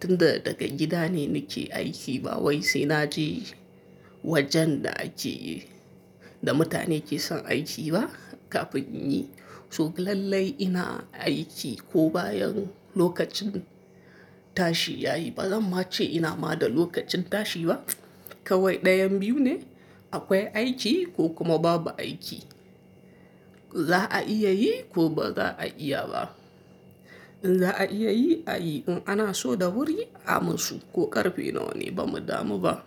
Tun da daga gida ne nike aiki ba wai sai naje wajen da ake yi da mutane ke son aiki ba kafin in yi. So lallai ina aiki ko bayan lokacin tashi yayi, bazan ma ce ina ma da lokacin tashi ba kawai ɗayan biyu ne akwai aiki ko kuma babu aiki. Za'a iya yi ko baza'a iya ba in za a iya yi a yi, in ana so da wuri a musu ko ƙarfe nawa ne ba mu damu ba.